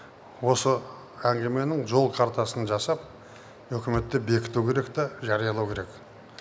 осы әңгіменің жол картасын жасап үкіметте бекіту керек те жариялау керек